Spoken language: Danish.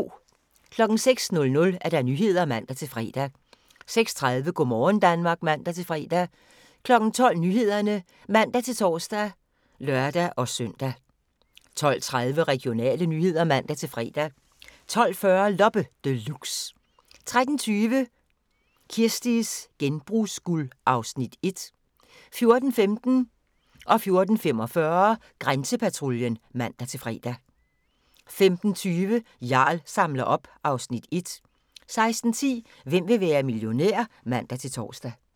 06:00: Nyhederne (man-fre) 06:30: Go' morgen Danmark (man-fre) 12:00: Nyhederne (man-tor og lør-søn) 12:30: Regionale nyheder (man-fre) 12:40: Loppe Deluxe 13:20: Kirsties genbrugsguld (Afs. 1) 14:15: Grænsepatruljen (man-fre) 14:45: Grænsepatruljen (man-fre) 15:20: Jarl samler op (Afs. 1) 16:10: Hvem vil være millionær? (man-tor)